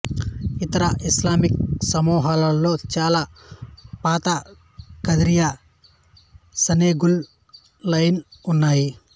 ఇతర ఇస్లామిక్ సమూహాలలో చాలా పాత కదిరియా సెనెగల్ లాయేన్ ఉన్నాయి